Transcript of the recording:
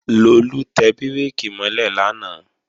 Lolú tẹ bírèkì mọ́ lẹ̀ lánàá